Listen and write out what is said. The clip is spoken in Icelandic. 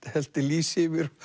hellti lýsi yfir